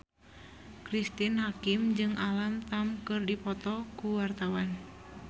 Cristine Hakim jeung Alam Tam keur dipoto ku wartawan